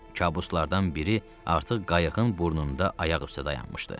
Kabuslardan biri artıq qayığın burnunda ayaq üstə dayanmışdı.